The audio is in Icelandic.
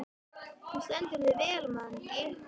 Þú stendur þig vel, Mangi!